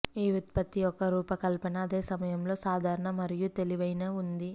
ఈ ఉత్పత్తి యొక్క రూపకల్పన అదే సమయంలో సాధారణ మరియు తెలివైన ఉంది